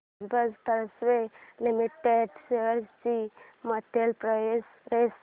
Bajaj Finserv limited shares ची monthly price range